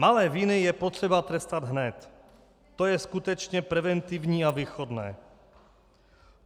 Malé viny je potřeba trestat hned, to je skutečně preventivní a výchovné.